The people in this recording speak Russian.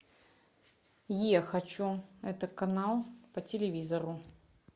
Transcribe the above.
е хочу это канал по телевизору